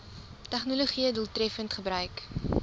tegnologië doeltreffend gebruik